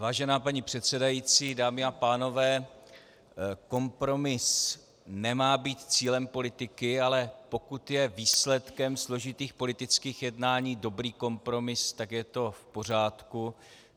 Vážená paní předsedající, dámy a pánové, kompromis nemá být cílem politiky, ale pokud je výsledkem složitých politických jednání dobrý kompromis, tak je to v pořádku.